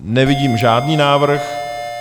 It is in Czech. Nevidím žádný návrh.